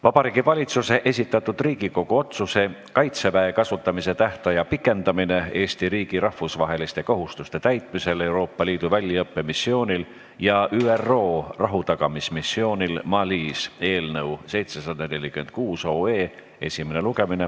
Vabariigi Valitsuse esitatud Riigikogu otsuse "Kaitseväe kasutamise tähtaja pikendamine Eesti riigi rahvusvaheliste kohustuste täitmisel Euroopa Liidu väljaõppemissioonil ja ÜRO rahutagamismissioonil Malis" eelnõu 746 esimene lugemine.